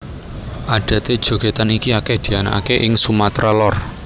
Adaté jogètan iki akèh dianakaké ing Sumatra Lor